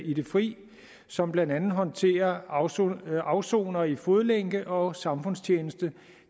i frihed som blandt andet håndterer afsonere afsonere i fodlænke og samfundstjeneste